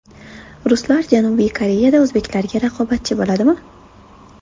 Ruslar Janubiy Koreyada o‘zbeklarga raqobatchi bo‘ladimi?